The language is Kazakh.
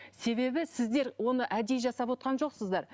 себебі сіздер оны әдейі жасап отырған жоқсыздар